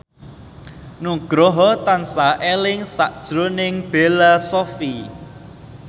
Nugroho tansah eling sakjroning Bella Shofie